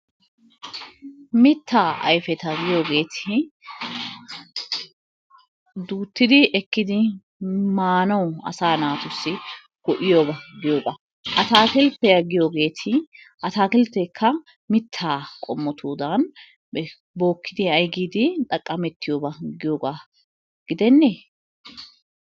Mittaa ayfeta giyogeeti duuttidi ekkidi maanawu asaa naatussi go'iyaba giyoga. Ataakilttiya giyogeeti ataakiltteekka mittaa qommotudan bookkidi ay giidi xaqqamettiyoba giyogaa gidennee,